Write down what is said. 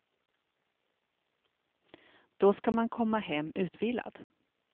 Då ska man komma hem utvilad.